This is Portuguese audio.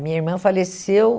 A minha irmã faleceu